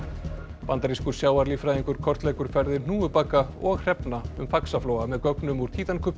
bandarískur sjávarlíffræðingur kortleggur ferðir hnúfubaka og hrefna um Faxaflóa með gögnum úr